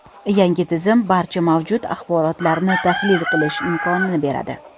Yangi tizim barcha mavjud axborotlarni tahlil qilish imkonini beradi.